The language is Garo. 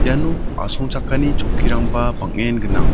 iano asongchakani chokkirangba bang·en gnang.